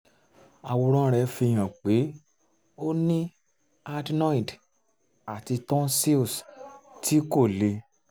àwòrán rẹ̀ fi hàn pé ó ní adenoid àti tonsils tí kò le